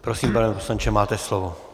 Prosím, pane poslanče, máte slovo.